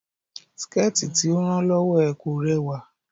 Síkẹ̀tí tí ó rán lọ́wọ́ ẹ̀ kò rẹwà